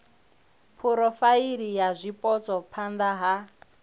phurofaili ya zwipotso phana ha